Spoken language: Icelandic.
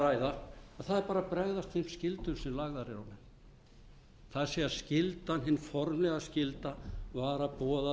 ræða að það er bara að bregðast þeim skyldum sem lagðar eru á það er skyldan hins formlega skylda var að boða